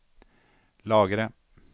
lagre